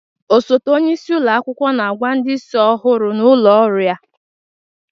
Osote onye isi ụlọ akwụkwọ na-agwa ndị isi ọhụrụ n'ụlọ ọrụ ya